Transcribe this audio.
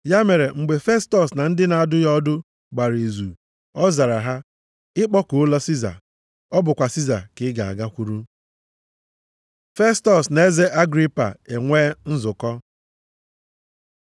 Ya mere, mgbe Festọs na ndị na-adụ ya ọdụ gbara izu, ọ zara, “Ị kpọkuola Siza, ọ bụkwa Siza ka ị ga-agakwuru.” Festọs na eze Agripa e nwee nzukọ